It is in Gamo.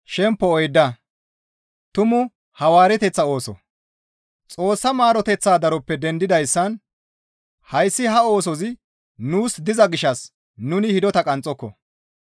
Xoossa maaroteththa daroppe dendidayssan hayssi ha oosozi nuus diza gishshas nuni hidota qanxxoko.